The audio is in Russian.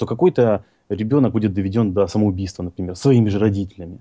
какой-то ребёнок будет доведён до самоубийства например своими же родителями